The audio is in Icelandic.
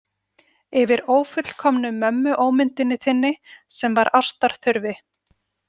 Yfir ófullkomnu mömmuómyndinni þinni sem var ástar þurfi.